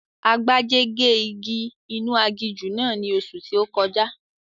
Agbájé gé igi inú aginjù náà ní oṣù tí ó kọjá